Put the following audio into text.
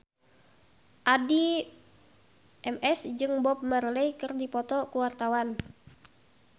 Addie MS jeung Bob Marley keur dipoto ku wartawan